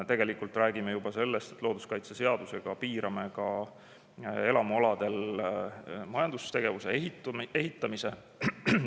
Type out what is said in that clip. Tegelikult räägime juba sellest, et looduskaitseseadusega piirame ka elamualadel majandustegevuse, ehitamise.